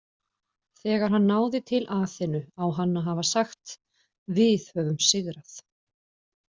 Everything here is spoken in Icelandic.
Þegar hann náði til Aþenu á hann að hafa sagt Við höfum sigrað!